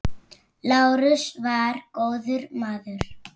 Lárus var góður maður.